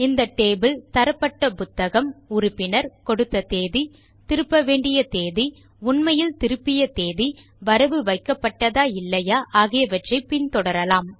இந்த டேபிள் தரப்பட்ட புத்தகம் உறுப்பினர் கொடுத்த தேதி திருப்ப வேண்டிய தேதி உண்மையில் திருப்பிய தேதி வரவு வைக்கப்பட்டதா இல்லையா ஆகியவற்றை பின் தொடரலாம்